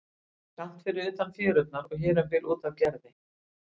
Hún var skammt fyrir utan fjörurnar og hér um bil út af Gerði.